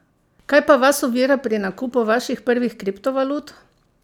Kaj pa vas ovira pri nakupu vaših prvih kriptovalut?